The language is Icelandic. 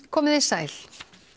komiði sæl